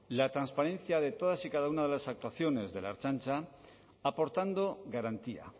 la transparencia de todas y cada una de las actuaciones de la ertzaintza aportando garantía